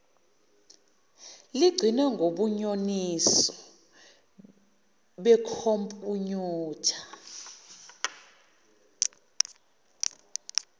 lugcinwe ngobunyoninso bekhompuyutha